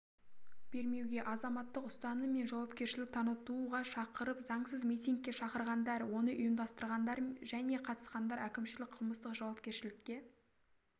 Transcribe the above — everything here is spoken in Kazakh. бермеуге азаматтық ұстаным мен жауапкершілік танытуға шақырып заңсыз митингке шақырғандар оны ұйымдастырғандар және қатысқандар әкімшілік қылмыстық жауапкершілікке